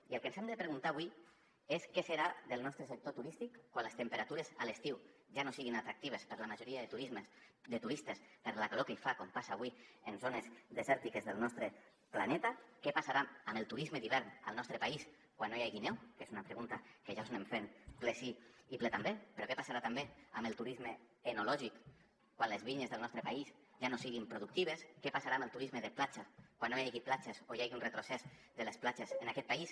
i el que ens hem de preguntar avui és què serà del nostre sector turístic quan les temperatures a l’estiu ja no siguin atractives per a la majoria de turistes per la calor que hi fa com passa avui en zones desèrtiques del nostre planeta què passarà amb el turisme d’hivern al nostre país quan no hi hagi neu que és una pregunta que ja us anem fent ple sí i ple també què passarà també amb el turisme enològic quan les vinyes del nostre país ja no siguin productives què passarà amb el turisme de platja quan no hi hagi platges o hi hagi un retrocés de les platges en aquest país